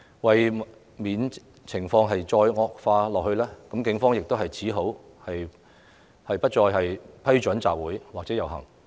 為免情況進一步惡化，警方只好不再批准集會或遊行。